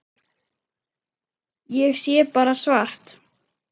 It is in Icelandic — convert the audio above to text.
Ég sé bara svart.